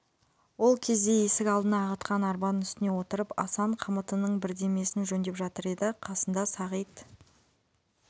ол кезде есік алдына ағытқан арбаның үстіне отырып асан қамытының бірдемесін жөндеп жатыр еді қасында сағит